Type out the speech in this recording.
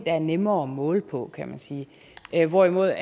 er nemmere at måle på kan man sige hvorimod